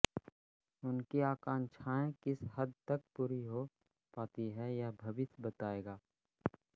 उनकी आकांक्षाएँ किस हद तक पूरी हो पाती है यह भविष्य बताएगा